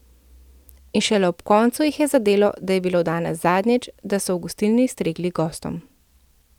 In šele ob koncu jih je zadelo, da je bilo danes zadnjič, da so v gostilni stregli gostom.